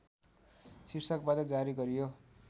शीर्षकबाट जारी गरियो